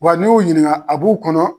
Wa n'i y'u ɲininka a b'u kɔnɔ